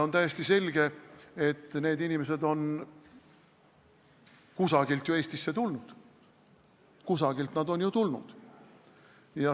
On täiesti selge, et need inimesed on kusagilt ju Eestisse tulnud.